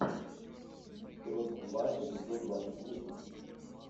крот два эпизод двадцать восемь